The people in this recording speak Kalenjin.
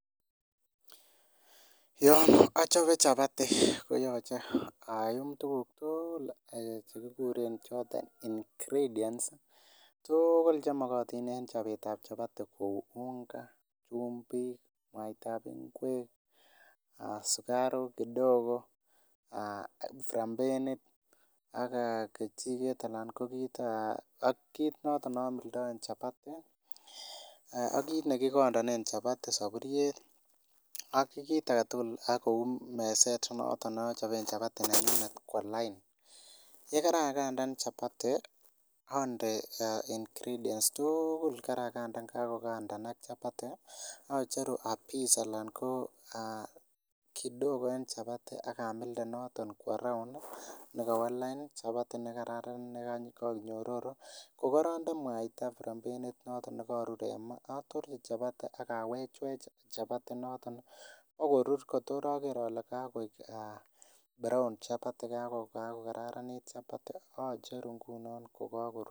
Yon achope chapati koyoche ayum tukuk tugul chekikuren ingredient tuugul chemoktin en chopetap chapati kou unga, chumvi, mwaitap ngwek, aa sukaruk kidogo, frapenit, ak ee kejiket ana kokit ee akit noto neamildoen chapati ee akit nekikondonen chapati saburiet akit agetugul akou mezet noto neachopen chapati nanyun kwo lain, yekara kandan chapati ande ingredients tuugul karakandan kakokandanak chapati acheru apiece alan koo aa kidogo en chapati akamilde noton kwo round nekowo lain chapati nekakararanit nekoik nyororo kokoronde mwaita frapenit noton nekorur en maa atorchi chapati akawechwech chapati inotok akorur kotor aker ale kakoi aa brown chapati kako kararanit chapati acheru ngunon kokakorur.